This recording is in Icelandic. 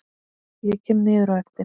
Ég kem niður á eftir.